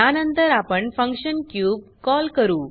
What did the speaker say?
त्यानंतर आपण function cube call करू